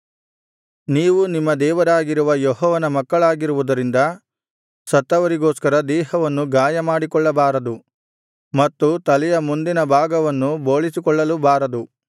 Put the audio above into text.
ನೀವು ನಿಮ್ಮ ದೇವರಾಗಿರುವ ಯೆಹೋವನ ಮಕ್ಕಳಾಗಿರುವುದರಿಂದ ಸತ್ತವರಿಗೋಸ್ಕರ ದೇಹವನ್ನು ಗಾಯಮಾಡಿಕೊಳ್ಳಬಾರದು ಮತ್ತು ತಲೆಯ ಮುಂದಿನಭಾಗವನ್ನು ಬೋಳಿಸಿಕೊಳ್ಳಲೂ ಬಾರದು